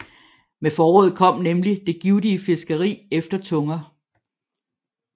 Med foråret kom nemlig det givtige fiskeri efter tunger